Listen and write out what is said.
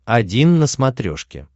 один на смотрешке